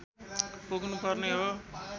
पुग्नु पर्ने हो